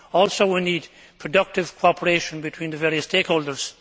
We also need productive cooperation between the various stakeholders.